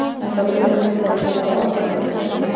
Þetta á líka við þegar kemur að orðaforða tveggja mála.